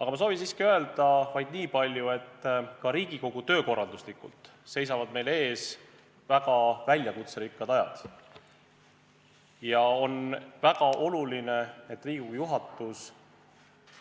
Aga ma soovin öelda vaid niipalju, et ka Riigikogu töö korraldamise mõttes seisavad meil ees väga väljakutserikkad ajad ja on väga oluline, et Riigikogu juhatus